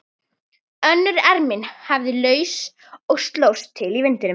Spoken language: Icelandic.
Önnur ermin lafði laus og slóst til í vindinum.